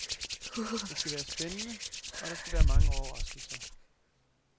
Det skal være spændende og der skal være mange overraskelser.